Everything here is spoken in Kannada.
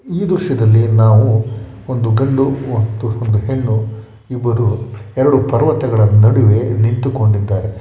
ಈ ದೃಶ್ಯದಲ್ಲಿ ನಾವು ಒಂದು ಗಂಡು ಒಂದು ಹೆಣ್ಣು ಇಬ್ಬರು ಎರೆಡು ಪಾರ್ವತಗಾಳ ನಡುವೆ ನಿಂತು ಕೊಂಡಿದ್ದಾರೆ.